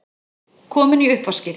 Komin í uppvaskið!